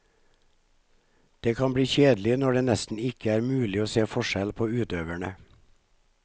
Det kan bli kjedelig når det nesten ikke er mulig å se forskjell på utøverne.